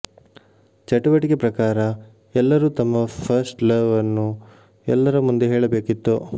ಚಟುವಟಿಕೆ ಪ್ರಕಾರ ಎಲ್ಲರೂ ತಮ್ಮ ಫಸ್ಟ್ ಲವ್ ಅನ್ನು ಎಲ್ಲರ ಮುಂದೆ ಹೇಳಬೇಕಿತ್ತು